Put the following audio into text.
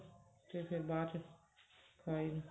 ਤੇ ਫ਼ੇਰ ਬਾਅਦ ਚ ਖਾਈ